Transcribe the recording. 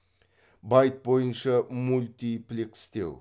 байт бойынша мультиплекстеу